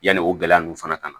Yanni o gɛlɛya ninnu fana ka na